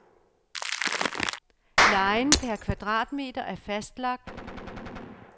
Lejen per kvadratmeter er fastlagt.